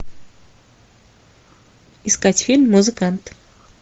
искать фильм музыкант